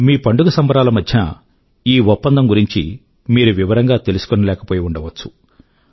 మీ పండుగ సంబరాల మధ్యన ఈ ఒప్పందం గురించి మీరు వివరంగా తెలుసుకోలేకపోయి ఉండవచ్చు